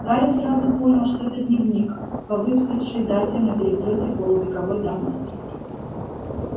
гарри сразу понял что это дневник по выцветшей дате на переплёте полувековой давности